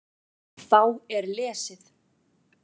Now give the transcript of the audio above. Þá er lesið